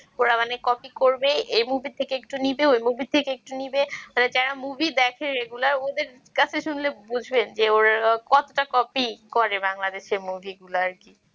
ওরা মানে copy করবে এই movie থেকে একটু নিবে ওই movie থেকে একটু নেবে মানে যারা movie দেখে regular ওদের কাছে শুনলে বুঝবেন যে ওরা কতটা copy করে বাংলাদেশের movie গুলো আরকি